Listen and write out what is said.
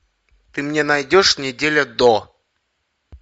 ты мне найдешь неделя до